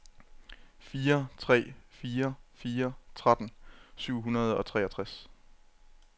fire tre fire fire tretten syv hundrede og treogtres